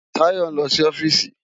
Tayo n lò si òfìsí